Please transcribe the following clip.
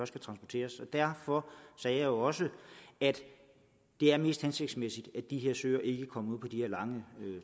skal transporteres derfor sagde jeg jo også at det er mest hensigtsmæssigt at de her søer ikke kommer på de lange